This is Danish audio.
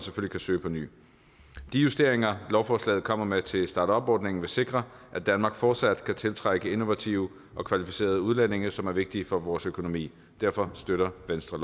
kan søge påny de justeringer lovforslaget kommer med til startupordningen vil sikre at danmark fortsat kan tiltrække innovative og kvalificerede udlændinge som er vigtige for vores økonomi derfor støtter venstre